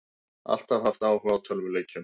Alltaf haft áhuga á tölvuleikjum